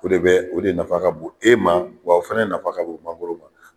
O de bɛ o de nafa ka bon e ma wa o fana nafa ka bon mangoro ma.